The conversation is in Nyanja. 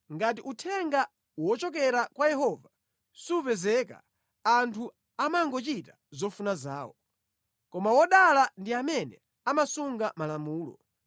Ngati uthenga wochokera kwa Yehova supezeka anthu amangochita zofuna zawo; koma wodala ndi amene amasunga malamulo.